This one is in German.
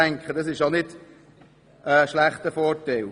Das ist sicher kein Nachteil.